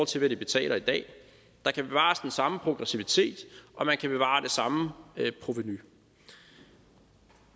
til hvad de betaler i dag der kan bevares den samme progressivitet og man kan bevare det samme provenu